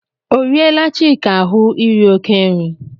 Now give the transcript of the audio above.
O riela Chika ahụ iri oké nri?